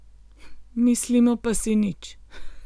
Mislimo pa si nič.